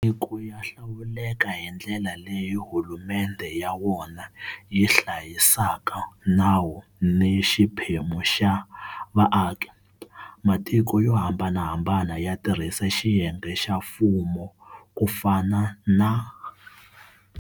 Matiko ya hlawuleka hi ndlela leyi hulumendhe ya wona yi hlayisaka nawu ni xiphemu xa vaaki. Matiko yo hambanahambana ya tirhisa xiyenge xa mfumo ku fana na.